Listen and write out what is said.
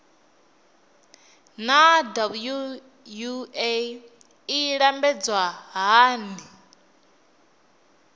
naa wua i lambedzwa hani